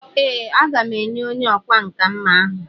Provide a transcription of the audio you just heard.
Ee, a ga m enye onye ọkwá nkà mma ahụ..